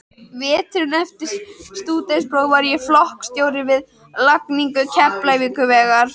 Veturinn eftir stúdentspróf var ég flokksstjóri við lagningu Keflavíkurvegar.